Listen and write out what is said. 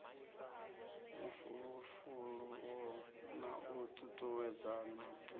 mafulufulo na u tutuwedzana duvha